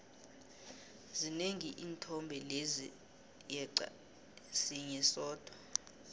zinengi iinthombe lezi yeqa sinye sodwa